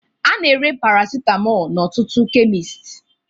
A na-ere Paracetamol n'ọtụtụ kemist